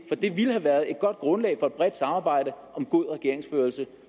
ville have været et godt grundlag for et bredt samarbejde om god regeringsførelse